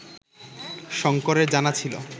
শঙ্করের জানা ছিল